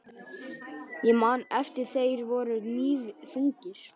Ég man að þeir voru níðþungir.